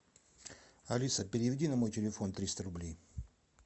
алиса переведи на мой телефон триста рублей